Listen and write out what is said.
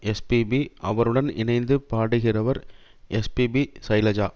S P B அவருடன் இணைந்து பாடுகிறவர் எஸ் பி ஷைலஜா